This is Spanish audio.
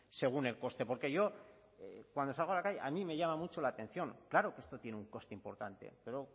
según el coste porque yo cuando salgo a la calle a mí me llama mucho la atención claro que esto tiene un coste importante pero